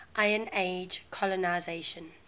iron age colonisation